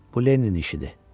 Bu Leninin işidir.